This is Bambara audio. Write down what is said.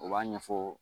U b'a ɲɛfɔ